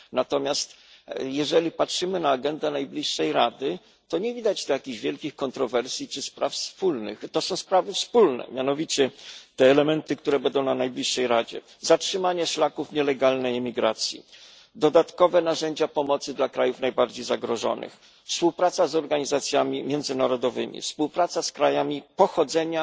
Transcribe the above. Natomiast jeżeli patrzymy na agendę najbliższej Rady, to nie widać tu jakichś wielkich kontrowersji czy spraw spornych, to są mianowicie sprawy wspólne, te elementy, które będą omówione na najbliższej Radzie zatrzymanie szlaków nielegalnej imigracji, dodatkowe narzędzia pomocy dla krajów najbardziej zagrożonych, współpraca z organizacjami międzynarodowymi, współpraca z krajami pochodzenia